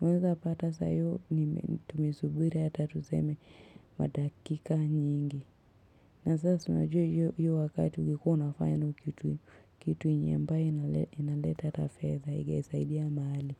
Naweza pata saiyo ni tumesubiri hata tuseme madakika nyingi. Na sasa siunajua iyo wakati ungekuwa ufanya kitu yenyeambae inaleta atafeza ilisaidi ya mahali.